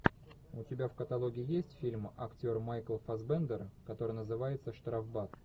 у тебя в каталоге есть фильм актер майкл фассбендер который называется штрафбат